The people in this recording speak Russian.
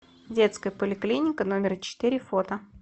детская поликлиника номер четыре фото